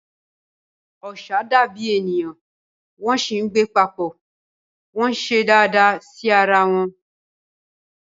Ọṣà dàbí ènìyàn wọ́n sì ń gbé papọ̀, wọ́n ń ṣe dáadáa sí ara wọn.